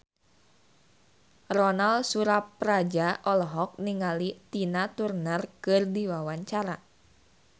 Ronal Surapradja olohok ningali Tina Turner keur diwawancara